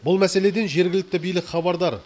бұл мәселеден жергілікті билік хабардар